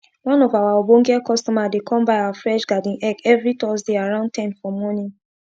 one of our ogbonge customer dey come buy our fresh garden egg everi thursday around ten for morning